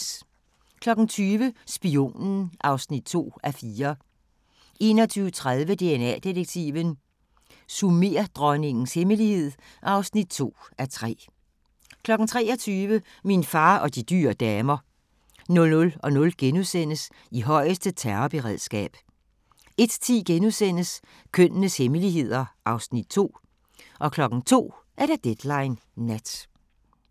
20:00: Spionen (2:4) 21:30: DNA-detektiven – Sumerdronningens hemmelighed (2:3) 23:00: Min far og de dyre damer 00:00: I højeste terrorberedskab * 01:10: Kønnenes hemmeligheder (Afs. 2)* 02:00: Deadline Nat